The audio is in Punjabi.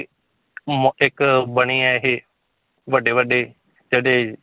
ਮ ਇੱਕ ਬਣੇ ਹੈ ਇਹ ਵੱਡੇ ਵੱਡੇ ਜਿਹੜੇ,